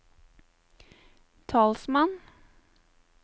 talsmann